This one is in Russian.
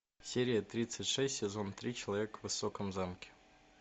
серия тридцать шесть сезон три человек в высоком замке